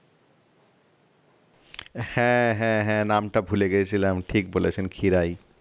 হ্যাঁ হ্যাঁ হ্যাঁ নামটা ভুলে গিয়েছিলাম ঠিক বলেছেন খিরায়